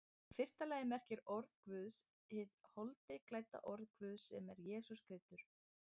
Í fyrsta lagi merkir orð Guðs hið holdi klædda orð Guðs, sem er Jesús Kristur.